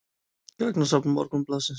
Gagnasafn Morgunblaðsins.